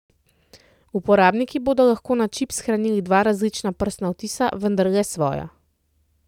Uporabniki bodo lahko na čip shranili dva različna prstna odtisa, vendar le svoja.